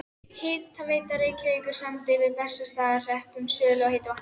Hitaveita Reykjavíkur samdi við Bessastaðahrepp um sölu á heitu vatni.